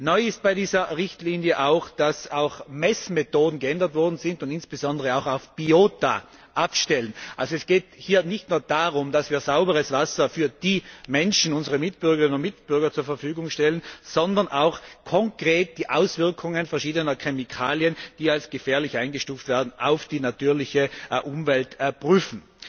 Neu ist bei dieser Richtlinie auch, dass Messmethoden geändert worden sind, die insbesondere auch auf Biota abstellen. Es geht also nicht nur darum, dass wir sauberes Wasser für die Menschen, unsere Mitbürgerinnen und Mitbürger, zur Verfügung stellen, sondern auch konkret die Auswirkungen verschiedener Chemikalien, die als gefährlich eingestuft werden, auf die natürliche Umwelt prüfen.